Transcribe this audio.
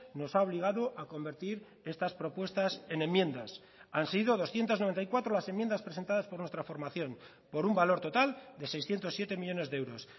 nos ha obligado a convertir estas propuestas en enmiendas han sido doscientos noventa y cuatro las enmiendas presentadas por nuestra formación por un valor total de seiscientos siete millónes de euros